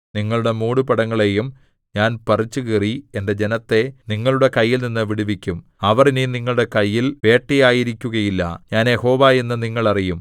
നിങ്ങളുടെ മൂടുപടങ്ങളെയും ഞാൻ പറിച്ചുകീറി എന്റെ ജനത്തെ നിങ്ങളുടെ കൈയിൽനിന്ന് വിടുവിക്കും അവർ ഇനി നിങ്ങളുടെ കയ്യിൽ വേട്ടയായിരിക്കുകയില്ല ഞാൻ യഹോവ എന്ന് നിങ്ങൾ അറിയും